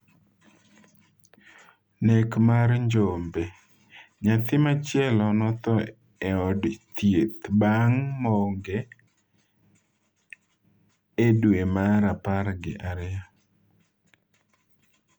Nek mar Njombe: Nyathi machielo notho e od thieth bang' monge e dwe mar apar gi ariyo